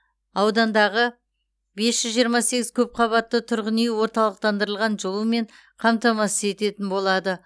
аудандағы бес жүз жиырма сегіз көпқабатты тұрғын үй орталықтандырылған жылумен қамтамасыз етітін болады